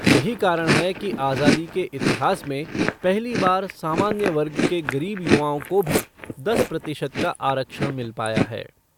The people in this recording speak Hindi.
यही कारण है कि आजादी के इतिहास में पहली बार सामान्य वर्ग के गरीब युवाओं को भी दस प्रतिशत का आरक्षण मिल पाया है।